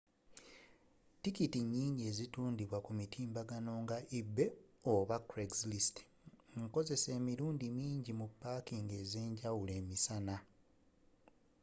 tikiti nnyingi ezitundidwa ku mitimbagano nga ebay oba craigslist nkozeseko emirundi mingi mu pakingi ez'enjawulo emisana